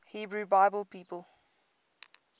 hebrew bible people